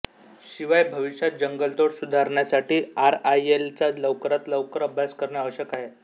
शिवाय भविष्यात जंगलतोड सुधारण्यासाठी आरआयएलचा लवकरात लवकर अभ्यास करणे आवश्यक आहे